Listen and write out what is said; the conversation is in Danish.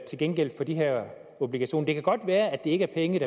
til gengæld for de her obligationer det kan godt være at det ikke er penge